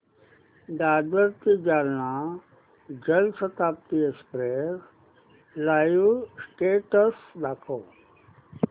दादर ते Jalna Janshatabdi express live status दाखव